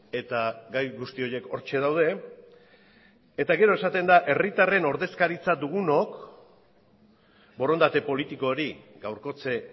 eta gai guzti horiek hortxe daude eta gero esaten da herritarren ordezkaritza dugunok borondate politiko hori gaurkotze